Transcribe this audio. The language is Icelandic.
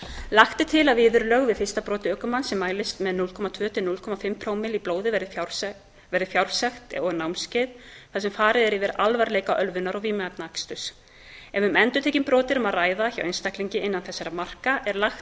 lagt er til að viðurlög við fyrsta broti ökumanns sem mælist með núll komma tvö til núll fimm prómill í blóði verði fjársekt og námskeið þar sem farið er yfir alvarleika ölvunar og vímuefnaaksturs ef um endurtekin brot er að ræða hjá einstaklingum innan þessara marka er lagt